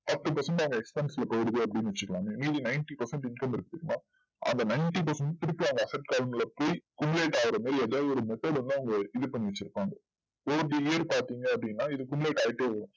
அவங்க forty percent ல போயிருது அப்டின்னு வச்சுகோங்களே மீதி ninety percent income இருக்கு but அந்த ninety percent திரும்ப அவங் message வந்து அவங்க இதுபண்ணி வச்சுருப்பாங்க பாத்திங்கன்னா அப்டின்னா இத ஆயிட்டே வரும்